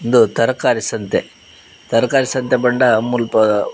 ಉಂದು ತರಕಾರಿ ಸಂತೆ ತರಕಾರಿ ಸಂತೆ ಪಂಡ ಮುಲ್ಪ.